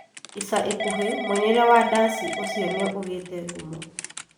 ica ikuhĩ, mũinĩre wa ndaci ũcio nĩũgĩte ngumo